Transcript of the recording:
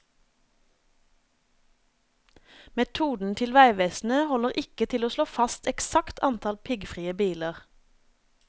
Metoden til veivesenet holder ikke til å slå fast eksakt antall piggfrie biler.